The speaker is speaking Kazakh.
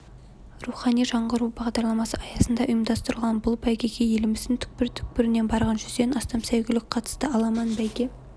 рухани жаңғыру бағдарламасы аясында ұйымдастырылған бұл бәйгеге еліміздің түкпір-түкпірінен барған жүзден астам сәйгүлік қатысты аламан бәйге